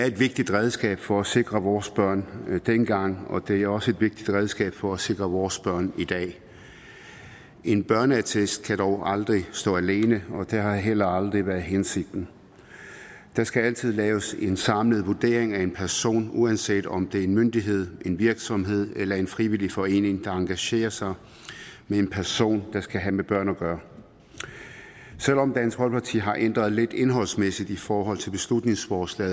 et vigtigt redskab for at sikre vores børn dengang og det er også et vigtigt redskab for at sikre vores børn i dag en børneattest kan dog aldrig stå alene og det har heller aldrig været hensigten der skal altid laves en samlet vurdering af en person uanset om det er en myndighed en virksomhed eller en frivillig forening der engagerer sig med en person der skal have med børn at gøre selv om dansk folkeparti har ændret lidt indholdsmæssigt i forhold til beslutningsforslag